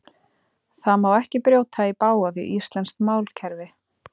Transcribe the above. Það má ekki brjóta í bága við íslenskt málkerfi.